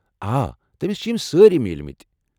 آ تٔمِس چھِ یِم سٲری میلِۍمٕتۍ ۔